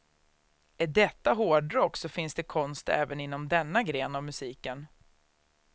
Är detta hårdrock, då finns det konst även inom denna gren av musiken.